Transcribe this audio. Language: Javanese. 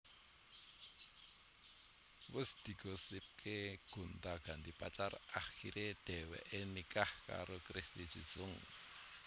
Wus digosipaké gonta ganti pacar akiré dheweké nikah karo Christy Jusung